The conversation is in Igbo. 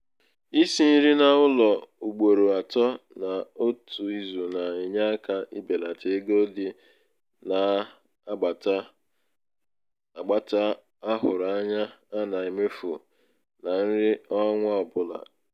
isi nri n'ụlọ ugboro atọ n'otu izu na-enye aka ibelata ego dị n'agbata a hụrụ anya a na-emefu na nri ọnwa ọbụla. nri ọnwa ọbụla.